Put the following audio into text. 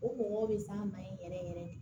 O mɔgɔw bɛ s'an ma yen yɛrɛ yɛrɛ de